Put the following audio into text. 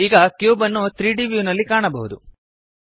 ಈಗ ಕ್ಯೂಬ್ ಅನ್ನು 3ದ್ ವ್ಯೂನಲ್ಲಿ ಕಾಣಬಹುದು